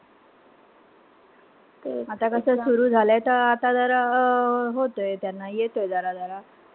आता कसं सुरु झालंय तर आता जरा आ होतय त्यांना येतय जरा-जरा.